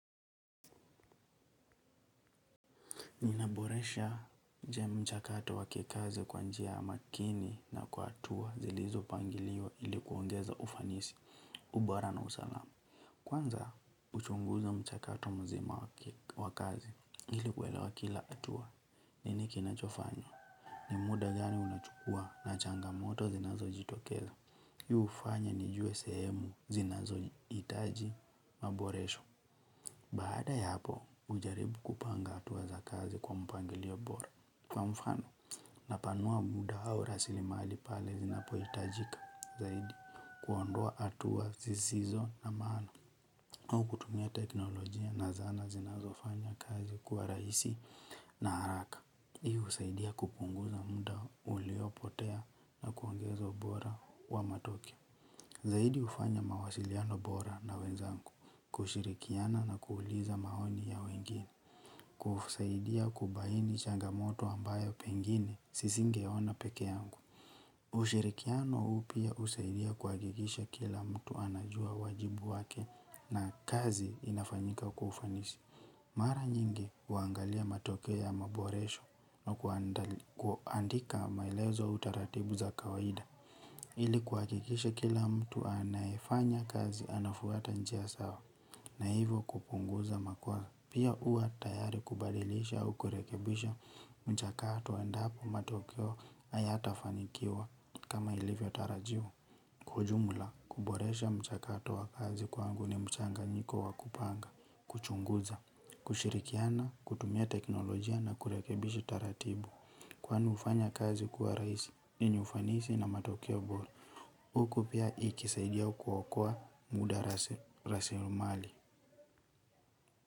Ninaboresha je mchakato wa kikazi kwa njia makini na kwa hatua zilizopangiliwa ilikuongeza ufanisi ubora na usalamu. Kwanza, uchunguza mchakato mzima wa kazi ili kuelewa kila hatua, nini kinachofanya. Ni muda gani unachukua na changamoto zinazojitokeza. Hii hufanya nijue sehemu zinazohitaji maboresho. Baada ya hapo, hujaribu kupanga hatua za kazi kwa mpangilio bora. Kwa mfano, napanua muda au rasili mali pale zinapohitajika. Zaidi, kuondoa hatua zisizo na maana. Au kutumia teknolojia na zana zinazofanya kazi kwa rahisi na haraka. Hiu husaidia kupunguza muda uliopotea na kuongeza ubora wa matokeo. Zaidi hufanya mawasiliano bora na wenzangu, kushirikiana na kuuliza maoni ya wengine, kusaidia kubaini changamoto ambayo pengine sisingeona peke yangu. Ushirikiano huu pia husaidia kuhakikisha kila mtu anajua wajibu wake na kazi inafanyika kwa ufanisi. Mara nyingi huangalia matokeo ya maboresho au kuandika maelezo au taratibu za kawaida. Ili kuhakikisha kila mtu anayefanya kazi anafuata njia sawa. Na hivo kupunguza makuwa pia huwa tayari kubadilisha au kurekebisha mchakato endapo matokeo hayatafanikiwa kama ilivyo tarajiwa. Kwa ujumla kuboresha mchakato wa kazi kwangu ni mchanganyiko wa kupanga Kuchunguza Kushirikiana kutumia teknolojia na kurekebishi taratibu. Kwani hufanya kazi kuwa rahisi yenye ufanisi na matokeo bora. Huku pia ikisaidia kuokoa muda raslimali.